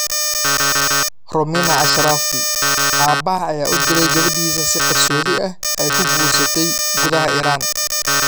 Romina Ashrafi: Aabaha ayaa u dilay gabadhiisa si qarsoodi ah 'ay ku guursatay' gudaha Iran